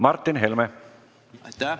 Aitäh!